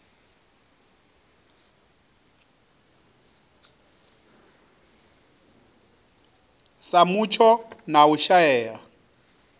sa mutsho na u shaea